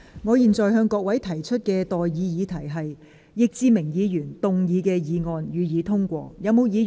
我現在向各位提出的待議議題是：易志明議員動議的議案，予以通過。